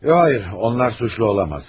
Hayır, onlar suçlu olamaz.